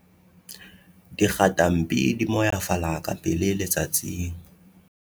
dikgatampi di moyafala ka pele letsatsing